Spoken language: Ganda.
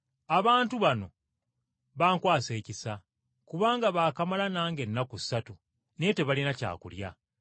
“Abantu bano bankwasa ekisa, kubanga baakamala nange ennaku ssatu, naye tebalina kyakulya.